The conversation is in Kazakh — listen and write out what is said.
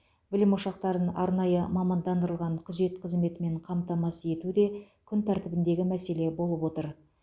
білім ошақтарын арнайы мамандандырылған күзет қызметімен қамтамасыз ету де күн тәртібіндегі мәселе болып отыр